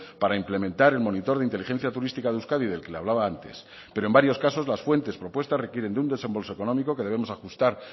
para implementar el monitor de inteligencia turística de euskadi del que le hablaba antes pero en varios casos las fuentes propuestas requieren de un desembolso económico que debemos ajustar